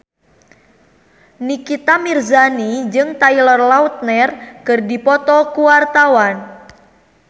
Nikita Mirzani jeung Taylor Lautner keur dipoto ku wartawan